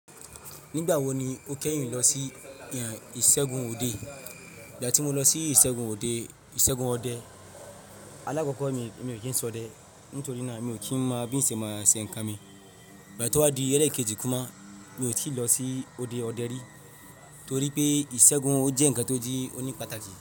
Nígbà wo ni o kẹ́yìn lọ sí ìṣẹ́gun òde? Ìgbà tí mo lọ sí ìṣẹ́gun òde, ìṣẹ́gun ọdẹ alákọ̀kọ́ mi, mi ò kí ń ṣọdẹ nítorí náà mi ò kí ń máa fi ìṣe máa ṣe nǹkan mi. Ìgbà tí ó wá di Ẹ̀rẹ̀kejì kúúmà mi ò tí ì lọ sí òde ọdẹ rí, torí pé ìṣẹ́gun ó jẹ́ ǹkan tó jí, ó ní pàtàkì.